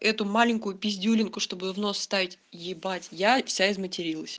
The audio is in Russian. эту маленькую пиздюлинку чтобы в её нос вставить ебать я вся изматерилась